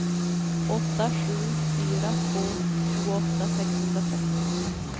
åtta sju fyra två tjugoåtta sexhundratrettio